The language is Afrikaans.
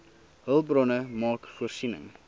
hulpbronne maak voorsiening